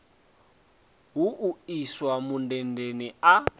hu u iswa mundendeni a